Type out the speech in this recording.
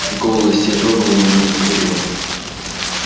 голос сё дрогнул и она не договорила